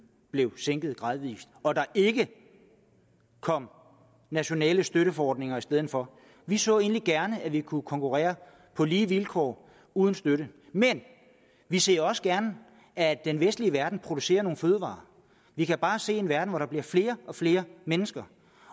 blev sænket gradvis og der ikke kom nationale støtteordninger i stedet for vi så egentlig gerne at vi kunne konkurrere på lige vilkår uden støtte men vi ser også gerne at den vestlige verden producerer nogle fødevarer vi kan se en verden hvor der bliver flere og flere mennesker